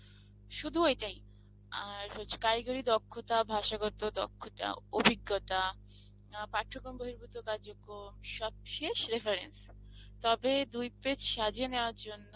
শুধু এটাই আর হচ্ছে কারিগরি দক্ষতা ভাষাগত দক্ষতা অভিজ্ঞতা পাঠ্যক্রম বহির্ভূত কার যোগ্য সবশেষ reference তবে দুই পেজ সাজিয়ে নেওয়ার জন্য